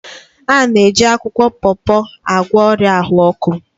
A na-eji akwukwo pawpaw agwọ ọrịa ahụ ọkụ.